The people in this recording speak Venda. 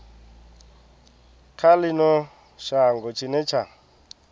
kha ino shango tshine tsha